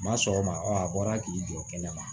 Ma sɔgɔma ɔ a bɔra k'i jɔ kɛnɛ ma